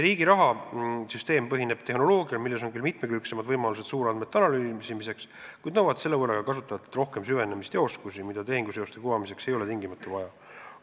Riigiraha süsteem põhineb tehnoloogial, milles on küll mitmekülgsemad võimalused suurandmete analüüsimiseks, kuid mis nõuab selle võrra ka kasutajatelt rohkem süvenemist ja oskusi, mida tehinguseoste kuvamiseks ei ole tingimata vaja.